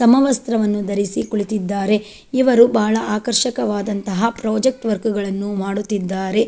ಸಮವಸ್ತ್ರವನ್ನು ಧರಿಸಿ ಕೂಳಿತಿದ್ದಾರೆ ಇವರು ಬಹಳ ಆಕರ್ಷಕವಾದಂತಹ ಪ್ರೊಜೆಕ್ಟ್ ವರ್ಕ್ ಗಳನ್ನು ಮಾಡುತ್ತಿದ್ದಾರೆ.